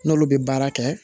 N'olu bɛ baara kɛ